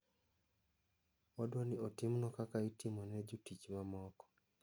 Wadwani otimnwa kaka itimo ne jotich mamoko.